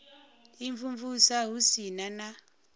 u imvumvusa hu si na